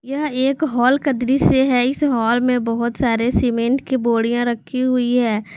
यह एक हॉल का दृश्य है इस हाल में बहुत सारे सीमेंट की बोरियां रखी हुई है।